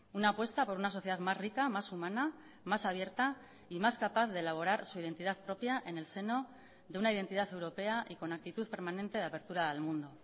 una apuesta por una sociedad más rica más humana más abierta y más capaz de elaborar su identidad propia en el seno de una identidad europea y con actitud permanente de apertura al mundo